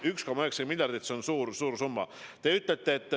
1,9 miljardit, see on suur summa!